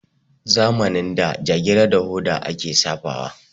Zamanin da jagira da hoda a ke safawa